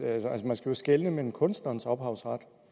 altså man skal jo skelne mellem kunstnerens ophavsret